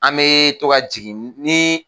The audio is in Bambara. An bɛ to ka jigin ni